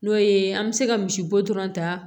N'o ye an bɛ se ka misibo dɔrɔn ta